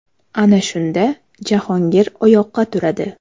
Ana shunda Jahongir oyoqqa turadi.